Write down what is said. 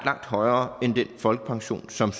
langt højere end den folkepension som